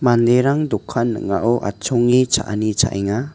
manderang dokan ning·ao atchonge cha·ani cha·enga.